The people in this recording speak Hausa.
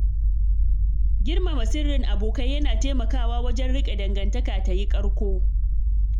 Girmama sirrin abokai yana taimakawa wajen riƙe dangantaka tayi ƙarko